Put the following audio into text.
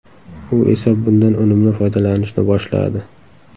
U esa bundan unumli foydalanishni boshladi.